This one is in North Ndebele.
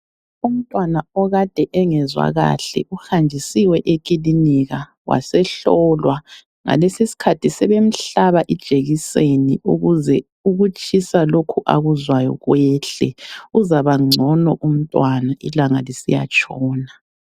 Umntwana okade engezwa kahle uhanjisiwe ekilinika wasehlolwa, ngalesi isikhathi sebemhlaba ijekiseni ukuze ukutshisa lokhu akuzwayo kwehle, uzabangcono umntwana ilanga lisiyatshona.